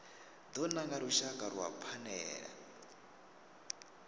do nanga lushaka lwa phanele